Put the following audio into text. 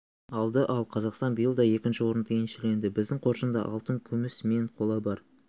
алды ал қазақстан биыл да екінші орынды еншіледі біздің қоржында алтын күміс мен қола бар